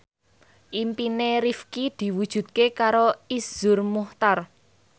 impine Rifqi diwujudke karo Iszur Muchtar